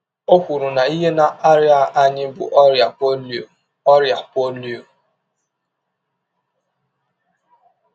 Ọ kwụrụ na ihe na - arịa anyị bụ ọrịa polio. ọrịa polio.